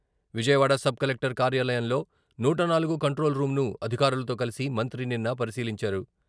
Vijayawada sub collector కార్యాలయంలో నూట నాలుగు కంట్రోల్ రూంను అధికారులతో కలిసి మంత్రి నిన్న పరిశీలించారు.